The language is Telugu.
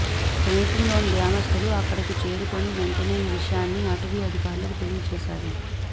సమీపంలోని గ్రామస్తులు అక్కడకు చేరుకుని వెంటనే ఈ విషయాన్ని అటవీ అధికారులకు తెలియచేశారు